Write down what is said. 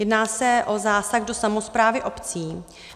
Jedná se o zásah do samosprávy obcí.